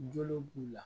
Jo b'u la